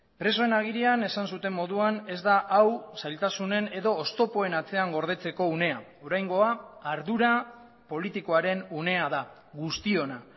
presoen agirian esan zuten moduan ez da hau zailtasunen edo oztopoen atzean gordetzeko unea oraingoa ardura politikoaren unea da guztiona